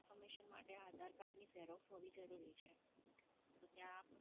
Confiormation માટે ત્યાં આધાર કાર્ડની Xerox હોવી જરૂરી છે